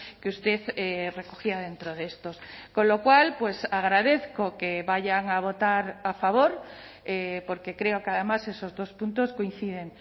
que usted recogía dentro de estos con lo cual agradezco que vayan a votar a favor porque creo que además esos dos puntos coinciden